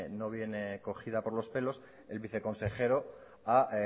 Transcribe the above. no viene cogida por los pelos el viceconsejero a